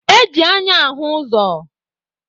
E ji anya ahụ ụzọ.